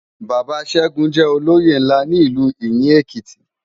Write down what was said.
Baba Segun jè ólóyé nlá ni Ilú Iyin Ékiti